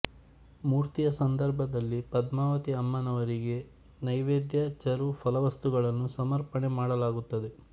ಮೂರ್ತಿಯ ಸಂದರ್ಭದಲ್ಲಿ ಪದ್ಮಾವತಿ ಅಮ್ಮನವರಿಗೆ ನೈವೇದ್ಯ ಚರು ಫಲವಸ್ತುಗಳನ್ನು ಸಮರ್ಪಣೆ ಮಾಡಲಾಗುತ್ತದೆ